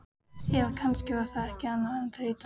Eða kannski var það ekki annað en þreyta.